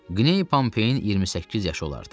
Qney Pompeyin 28 yaşı olardı.